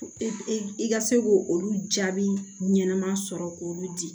I ka se k'o olu jaabi ɲɛnama sɔrɔ k'olu di